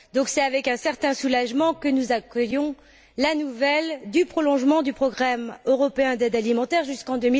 C'est donc avec un certain soulagement que nous accueillons la nouvelle du prolongement du programme européen d'aide alimentaire jusqu'en